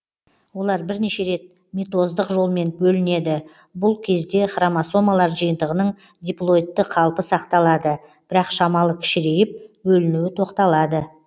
олар бірнеше рет митоздық жолмен бөлінеді бүл кезде хромосомалар жиынтығының диплоидты қалпы сақталады бірақ шамалы кішірейіп бөлінуі тоқталады